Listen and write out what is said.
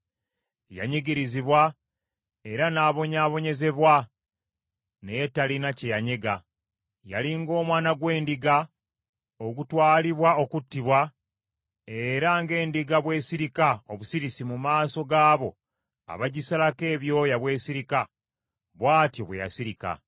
Yanyigirizibwa era n’obonyaabonyezebwa naye talina kye yanyega, yali ng’omwana gw’endiga ogutwalibwa okuttibwa, era ng’endiga bwesirika obusirisi mu maaso g’abo abagisalako ebyoya bwesirika, bw’atyo bwe yasirika.